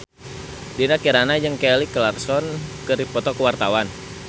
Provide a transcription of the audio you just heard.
Dinda Kirana jeung Kelly Clarkson keur dipoto ku wartawan